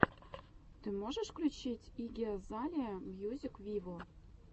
ты можешь включить игги азалия мьюзик виво